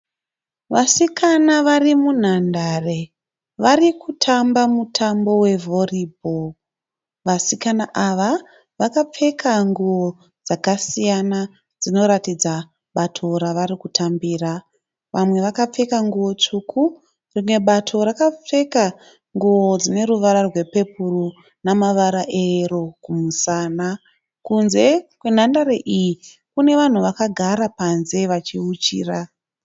Vasikana varimunhandare. Varikutamba mutambo we (volleyball). Vasikana ava vakapfeka nguwo dzakasiyana dzinoratidza bato ravari kutambira. Vamwe vakapfeka nguwo tsvuku rimwe bato rakapfeka nguwo dzineruvara rwepepuro nemavara eyero kumusana. Kunze kwenhandare iyi kune vanhu vakagara panze vachiuchira.